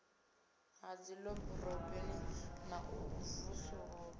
ha dziḓoroboni na u vusuludzwa